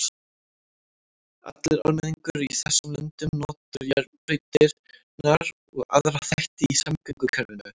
Allur almenningur í þessum löndum notar járnbrautirnar og aðra þætti í samgöngukerfinu.